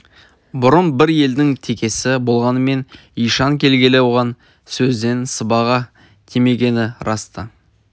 бұрын бір елдің текесі болғанмен ишан келгелі оған сөзден сыбаға тимегені рас та